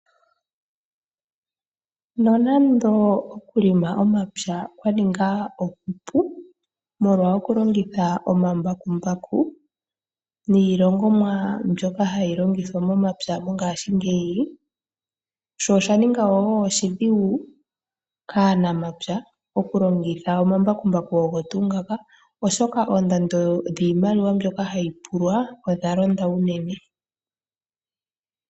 Nonando okulonga omapya kwa ninga okupu molwa okulongitha omambakumbaku niilongithomwa mbyoka hayi longithwa momapya mongashingeyi, osha ninga wo oshidhigu kaanamapya oku longitha omambakumbaku ogo tuu ngaka oshoka oondando dhiimaliwa mbyoka hayi pulwa odha londa unene.